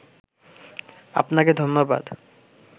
আপনাকে ধন্যবাদ